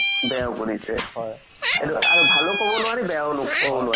সৰু যেতিয়া আগতে সৰু আছিলো তেতিয়া তে এই কেইটা পঢ়োৱা নাছিলে ন